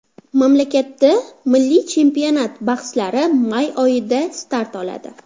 Mamlakatda milliy chempionat bahslari may oyida start oladi.